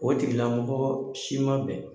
O tigila mɔgɔ si ma bɛn!